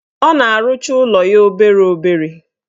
Ọ na-arụcha ụlọ ya obere obere.